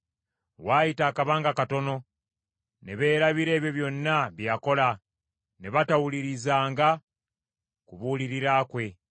Waayita akabanga katono ne beerabira ebyo byonna bye yakola; ne batawulirizanga kubuulirira kwe.